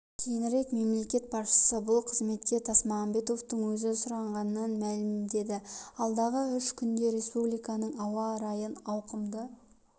кейінірек мемлекет басшысы бұл қызметке тасмағамбетовтың өзі сұранғанын мәлімдеді алдағы үш күнде республиканың ауа райын ауқымды